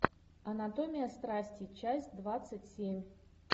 анатомия страсти часть двадцать семь